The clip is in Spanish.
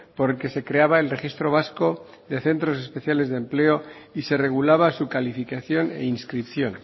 porque se creaba el registro vasco de centros especiales de empleo y se regulaba su calificación e inscripción